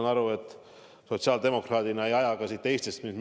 Ma saan aru, et sotsiaaldemokraadina te ei aja mind Eestist minema.